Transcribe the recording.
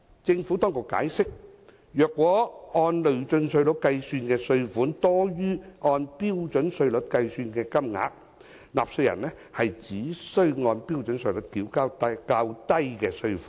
政府當局解釋，如果按累進稅率計算的稅款多於按標準稅率計算的金額，納稅人只須按標準稅率繳交較低的稅款。